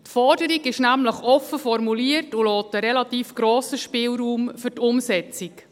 Die Forderung ist nämlich offen formuliert und lässt einen relativ grossen Spielraum für die Umsetzung.